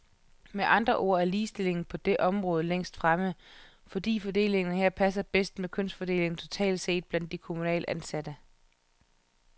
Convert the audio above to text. Med andre ord er ligestillingen på det område længst fremme, fordi fordelingen her passer bedst med kønsfordelingen totalt set blandt de kommunalt ansatte.